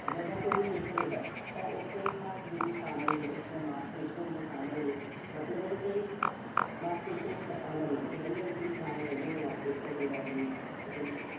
ਜਦੋਂ ਕੋਈ ਲਿਖ ਰਿਹਾ ਤਾਂ ਉਸਦੇ ਹੱਥ ਵਿੱਚ ਸ਼ਾਮਲ ਨੇ, ਉਸਦੀਆਂ ਮਾਸ਼ਪੇਸ਼ੀਆਂ ਵਿੱਚ ਸ਼ਾਮਲ ਨੇ। ਮਤਲਬ ਇਥੇ ਮਾਸ਼ਪੇਸ਼ੀਆਂ ਸ਼ਾਮਲ ਨੇ। ਖੇਡਣ ਦੇ ਵਿੱਚ ਵੀ ਸ਼ਾਮਲ ਹੈਗੀਆਂ ਨੇ ਮਾਸ਼ਪੇਸ਼ੀਆਂ। ਕੋਈ doubt ਨੀਂ ਠੀਕ ਆ ਜੀ।